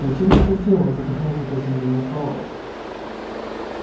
зачем ты это сделал задохнулся от изумления пауэлл